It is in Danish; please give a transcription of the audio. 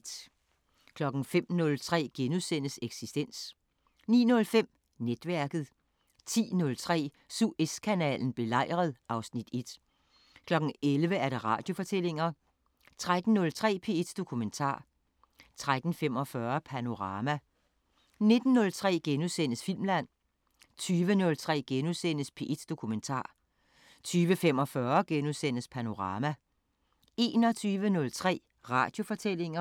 05:03: Eksistens * 09:05: Netværket 10:03: Suezkanalen belejret (Afs. 1) 11:00: Radiofortællinger 13:03: P1 Dokumentar 13:45: Panorama 19:03: Filmland * 20:03: P1 Dokumentar * 20:45: Panorama * 21:03: Radiofortællinger